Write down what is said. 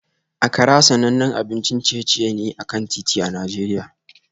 Akara sanannen abincin ciye-ciye ne a kan titi a Najeriya